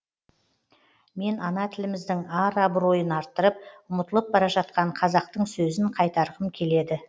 мен ана тіліміздің ар абыройын арттырып ұмытылып бара жатқан қазақтың сөзін қайтарғым келеді